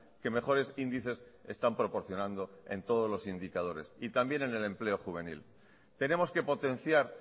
que mejores índices están proporcionando en todos los indicadores y también en el empleo juvenil tenemos que potenciar